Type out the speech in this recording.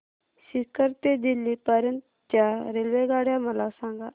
सीकर ते दिल्ली पर्यंत च्या रेल्वेगाड्या मला सांगा